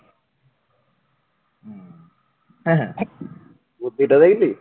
বুদ্ধিটা দেখলি?